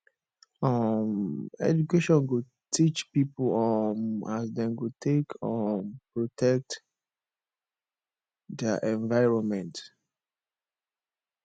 um education go teach pipo um as dem go take um protect their environment